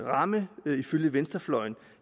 ramme ifølge venstrefløjen